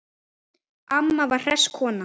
Amma var hress kona.